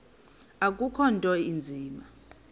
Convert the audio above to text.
akukho nto inzima